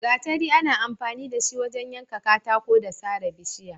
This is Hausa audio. Gatari ana amfani da shi wajen yanka katako da sare bishiya.